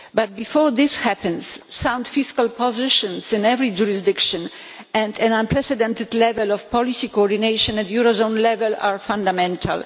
But before this happens, sound fiscal positions in every jurisdiction and an unprecedented level of policy coordination at eurozone level are fundamental.